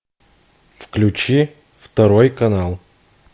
включи второй канал